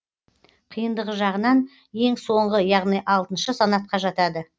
қиындығы жағынан ең соңғы яғни алтыншы санатқа жатады